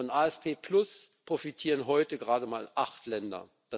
Vom APS profitieren heute gerade mal acht Länder.